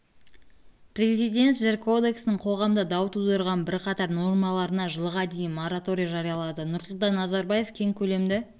президент жер кодексінің қоғамда дау тудырған бірқатар нормаларына жылға дейін мораторий жариялады нұрсұлтан назарбаев кең көлемді